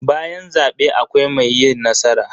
Bayan zabe akwai mai yi nasara.